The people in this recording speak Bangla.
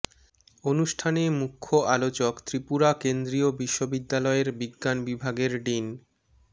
অনুষ্ঠানে মুখ্য আলোচক ত্রিপুরা কেন্দ্রীয় বিশ্ববিদ্যালয়ের বিজ্ঞান বিভাগের ডিন ড